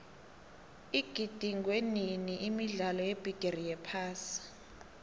igidingwenini imidlalo yebigiri yephasi